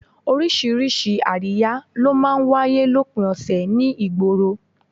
Oríṣiríṣi àríyá ló máa ń wáyé lópin ọ̀sẹ̀ ní ìgboro